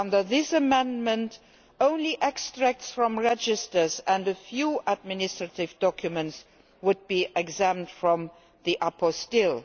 Under this amendment only extracts from registers and a few administrative documents would be exempt from the apostille